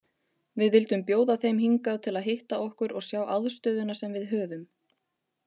Við vildum bjóða þeim hingað til að hitta okkur og sjá aðstöðuna sem við höfum.